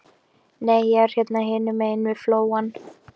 Nei, ég er hérna hinum megin við flóann.